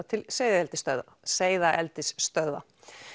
til seiðaeldisstöðva seiðaeldisstöðva